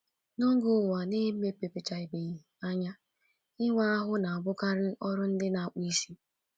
N’oge Ụwa Na-emepechabeghị Anya, ịwa ahụ na-abụkarị ọrụ ndị na-akpụ isi.